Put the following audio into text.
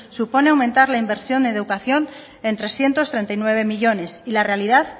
supone aumentar la inversión en educación en trescientos treinta y nueve millónes y la realidad